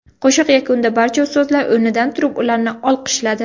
Qo‘shiq yakunida barcha ustozlar o‘rnidan turib, ularni olqishladi.